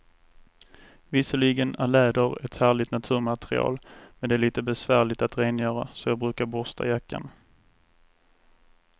Visserligen är läder ett härligt naturmaterial, men det är lite besvärligt att rengöra, så jag brukar borsta jackan.